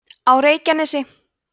á reykjanesi